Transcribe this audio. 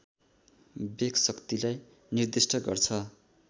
वेगशक्तिलाई निर्दिष्ट गर्छ